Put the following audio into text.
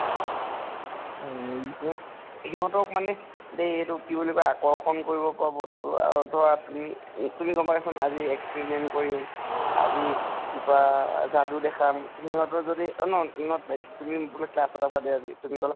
উম সিহঁতক মানে দেই এইটোক কি বুলি কয় আকৰ্ষণ কৰিব পৰা বস্তু । আৰু ধৰা তুমি, তুমি কবা এখন আজি experiment কৰিম । আজি কিবা যাদু দেখাম, সিহঁতৰ যদি ন not like তুমি বোলে class ত আছা দেই আজি, তুমি কলা